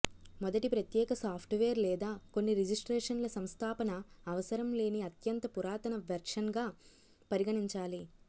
మొదటి ప్రత్యేక సాఫ్ట్వేర్ లేదా కొన్ని రిజిస్ట్రేషన్ల సంస్థాపన అవసరం లేని అత్యంత పురాతన వెర్షన్గా పరిగణించాలి